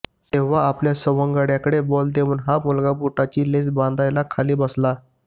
तेव्हा आपल्या सवंगड्याकडे बॉल देऊन हा मुलगा बुटाची लेस बांधायला खाली बसला